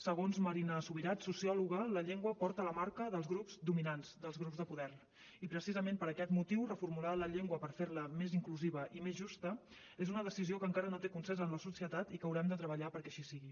segons marina subirats sociòloga la llengua porta la marca dels grups dominants dels grups de poder i precisament per aquest motiu reformular la llengua per fer la més inclusiva i més justa és una decisió que encara no té consens en la societat i que haurem de treballar perquè així sigui